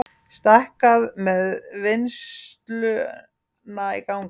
Stækkað með vinnsluna í gangi